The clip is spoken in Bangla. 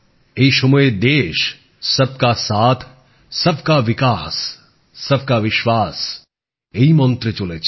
এই সময়ে দেশ সব কা সাথ সবকা বিকাশ সবকা বিশ্বাস এই মন্ত্রে চলেছে